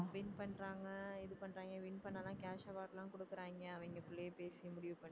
win பண்றாங்க இது பண்றாங்க win பண்ணால cash award லாம் கொடுக்கறாங்க அவிங்ககுள்ளையே பேசி முடிவு பண்ணி